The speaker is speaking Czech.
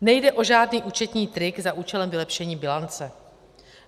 Nejde o žádný účetní trik za účelem vylepšení bilance.